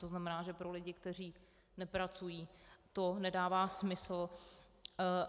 To znamená, že pro lidi, kteří nepracují, to nedává smysl.